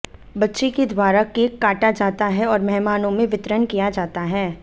बच्चे के द्वारा केक काटा जाता है और मेहमानों में वितरण किया जाता है